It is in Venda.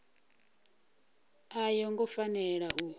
a yo ngo fanela u